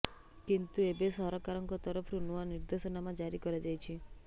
କିନ୍ତୁ ଏବେ ସରକାରଙ୍କ ତରଫୁର ନୂଆ ନିର୍ଦ୍ଦେଶନାମା ଜାରି କରାଯାଇଛି